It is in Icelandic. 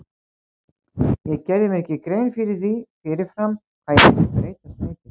Ég gerði mér ekki grein fyrir því fyrir fram hvað ég myndi breytast mikið.